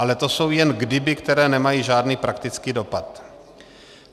Ale to jsou jen kdyby, která nemají žádný praktický dopad.